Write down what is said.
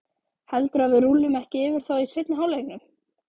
Heldurðu að við rúllum ekki yfir þá í seinni hálfleiknum?